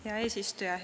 Hea eesistuja!